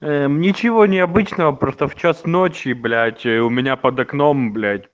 ничего необычного просто в час ночи ночи блять у меня под окном блять